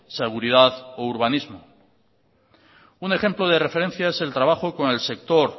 seguridad o urbanismo un ejemplo de referencia es el trabajo con el sector